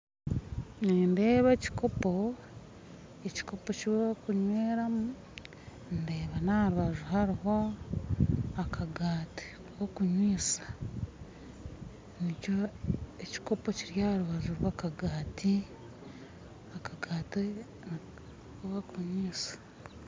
Nindeeba ekikopo ekikopo ekibarikunyweramu ndeeba n'aha rubaju hariho akagaati k'okunyweisa ekikopo kiri aha rubaju rw'akagaati akagaati aku barikunyweisa.